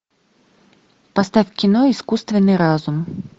поставь кино искусственный разум